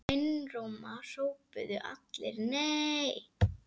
Einróma hrópuðu allir: NEI!